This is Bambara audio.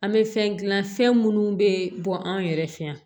An bɛ fɛn dilan fɛn minnu bɛ bɔ an yɛrɛ fɛ yan